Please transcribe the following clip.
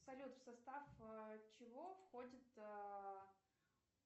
салют в состав чего входит